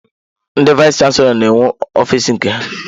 Ndị vayis chansilọ n'enwe ọfiisi nke ha.